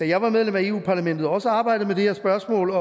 jeg var medlem af europa parlamentet også arbejdet med det her spørgsmål